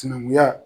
Sinankunya